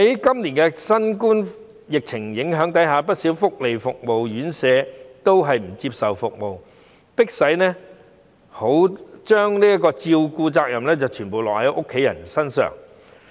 今年在新冠肺炎疫情影響下，不少福利服務院舍未能提供服務，迫使照顧的責任全部轉至家人身上。